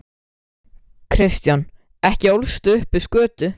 Kristján: Ekki ólstu upp við skötu?